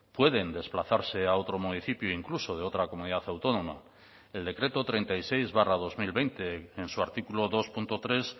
pueden desplazarse a otro municipio incluso de otra comunidad autónoma el decreto treinta y seis barra dos mil veinte en su artículo dos punto tres